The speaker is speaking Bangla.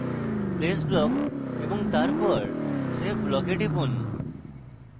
place block এবং তারপর save block এ টিপুন